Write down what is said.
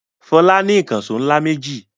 Fọlá ní ìkànṣó ńlá méjì.